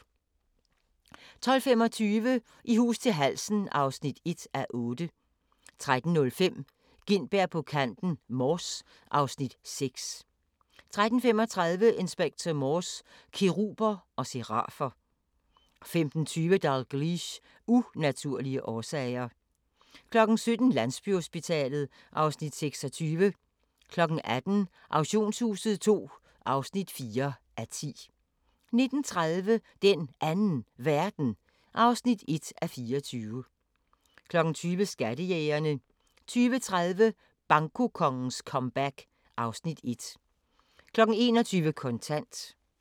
12:25: I hus til halsen (1:8) 13:05: Gintberg på kanten – Mors (Afs. 6) 13:35: Inspector Morse: Keruber og serafer 15:20: Dalgliesh: Unaturlige årsager 17:00: Landsbyhospitalet (Afs. 26) 18:00: Auktionshuset II (4:10) 19:30: Den Anden Verden (1:24) 20:00: Skattejægerne 20:30: Bankokongens comeback (Afs. 1) 21:00: Kontant